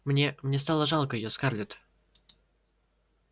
мне мне стало жалко её скарлетт